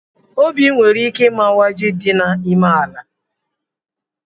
Obi nwere ike imawa ji dị n'ime ala